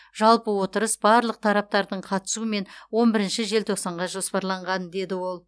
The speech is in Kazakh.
жалпы отырыс барлық тараптардың қатысуымен он бірінші желтоқсанға жоспарланған деді ол